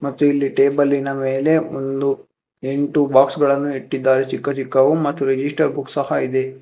ಮತ್ತು ಇಲ್ಲಿ ಟೇಬಲಿನ ಮೇಲೆ ಒಂದು ಎಂಟು ಬಾಕ್ಸ್ ಗಳನ್ನು ಇಟ್ಟಿದ್ದಾರೆ ಚಿಕ್ಕ ಚಿಕ್ಕವು ಮತ್ತು ರಿಜಿಸ್ಟರ್ ಬುಕ್ ಸಹ ಇದೆ.